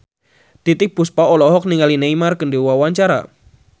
Titiek Puspa olohok ningali Neymar keur diwawancara